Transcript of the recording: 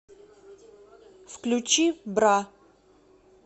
включи бра